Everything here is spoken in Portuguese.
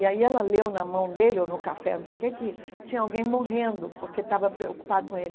E aí ela leu na mão dele, ou no café, não sei o que, que tinha alguém morrendo porque estava preocupado com ele.